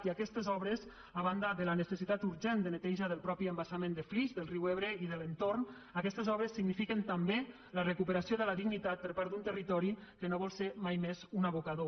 i aquestes obres a banda de la necessitat urgent de neteja del mateix embassament de flix del riu ebre i de l’entorn signifiquen també la recuperació de la dignitat per part d’un territori que no vol ser mai més un abocador